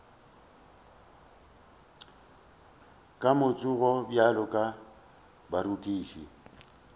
ka matsogo bjalo ka baratani